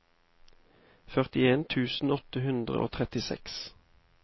førtien tusen åtte hundre og trettiseks